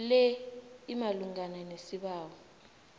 le imalungana nesibawo